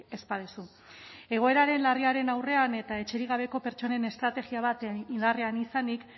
ez baduzu egoeraren larriaren aurrean eta etxerik gabeko pertsonen estrategia bat indarrean izanik